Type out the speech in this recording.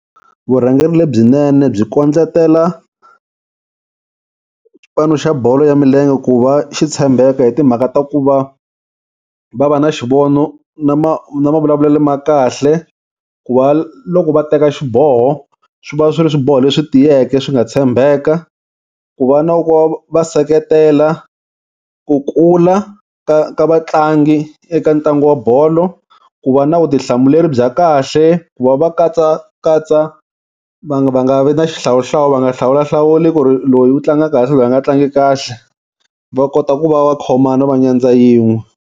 Vurhangeri lebyinene byi kondletela xipano xa bolo ya milenge ku va xi tshembeka hi timhaka ta ku va va va na xivono na na mavulavulelo ma kahle, ku va loko va teka xiboho swi va swi ri swiboho leswi tiyeke swi nga tshembeka ku va na va seketela ku kula ka ka vatlangi eka ntlangu wa bolo, ku va na vutihlamuleri bya kahle ku va va katsakatsa vanhu va nga vi na xihlawuhlawu va nga hlawulahlawuli ku ri loyi u tlanga kahle loyi a nga tlangi kahle. Va kota ku va va khomana va nyadza yin'we.